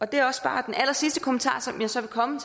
det er også bare den allersidste kommentar som jeg så vil komme